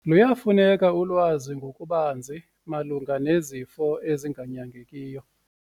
Luyafuneka ulwazi ngokubanzi malunga nezifo ezinganyangekiyo.